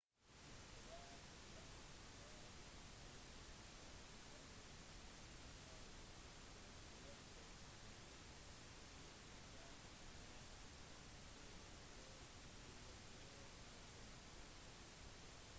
hvert land har også unike lover som avgjør hvilket nødutstyr som er påkrevd å være i bilen